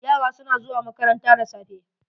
Yara su na zuwa makaranta da safe.